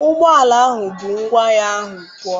Ụgbọala ahụ bu ngwa ahịa ahụ pụọ.